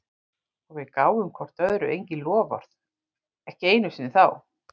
Og við gáfum hvort öðru engin loforð, ekki einu sinni þá.